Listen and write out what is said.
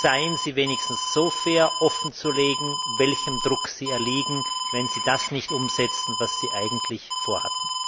Seien Sie wenigstens so fair, offenzulegen, welchem Druck Sie erliegen, wenn Sie das nicht umsetzen, was Sie eigentlich vorhatten!